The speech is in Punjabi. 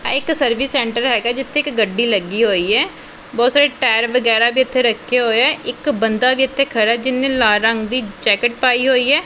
ਆਹ ਇੱਕ ਸਰਵਿਸ ਸੈਂਟਰ ਹੈਗਾ ਜਿੱਥੇ ਇੱਕ ਗੱਡੀ ਲੱਗੀ ਹੋਈ ਐ ਬਹੁਤ ਸਾਰੇ ਟਾਇਰ ਵਗੈਰਾ ਵੀ ਇੱਥੇ ਰੱਖੇ ਹੋਏ ਆ ਇੱਕ ਬੰਦਾ ਵੀ ਇੱਥੇ ਖੜਾ ਐ ਜਿਹਨੇਂ ਲਾਲ ਰੰਗ ਦੀ ਜੈਕੇਟ ਪਾਈ ਹੋਈ ਐ।